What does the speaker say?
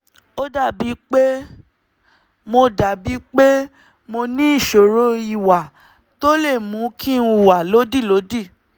ó dàbíi pé mo dàbíi pé mo ní ìṣòro ìwà tó lè mú kí n hùwà lódìlódì